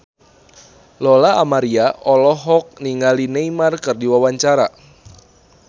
Lola Amaria olohok ningali Neymar keur diwawancara